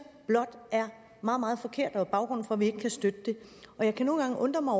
blot er meget meget forkert og baggrunden for at vi ikke kan støtte det jeg kan nogle gange undre mig